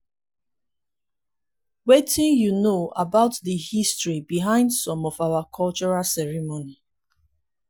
wetin you know about di history behind some of our cultural ceremonies?